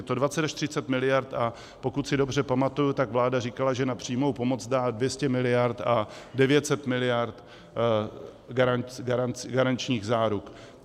Je to 20 až 30 miliard, a pokud si dobře pamatuji, tak vláda říkala, že na přímou pomoc dá 200 miliard a 900 miliard garančních záruk.